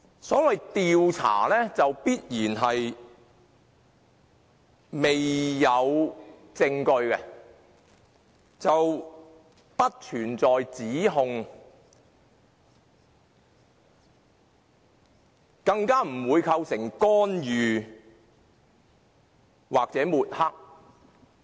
所謂"調查"，必然是未有證據的，故此並不存在指控，更不會構成干預或抹黑。